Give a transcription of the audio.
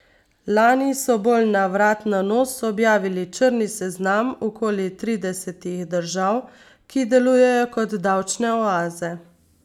Lani so bolj na vrat na nos objavili črni seznam okoli tridesetih držav, ki delujejo kot davčne oaze.